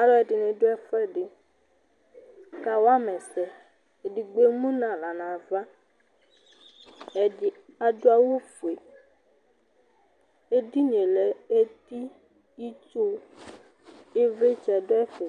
Alʋɛdìní ɖu ɛfʋɛɖi kawama ɛsɛ Ɛɖigbo ɛmu ŋu aɣla ŋu ava Ɛɖì aɖu awu fʋe Ɛɖìníe lɛ eti, itsu, ivlitsɛ ɖu ɛfɛ